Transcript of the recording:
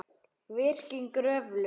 Virkjun Kröflu